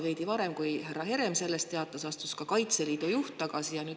Veidi varem, kui härra Herem teatas, astus ka Kaitseliidu juht tagasi.